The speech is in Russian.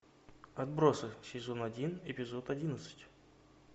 отбросы сезон один эпизод одиннадцать